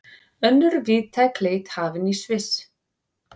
Önnur víðtæk leit hafin í Sviss